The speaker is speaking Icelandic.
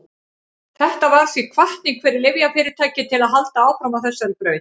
þetta varð því hvatning fyrir lyfjafyrirtæki til að halda áfram á þessari braut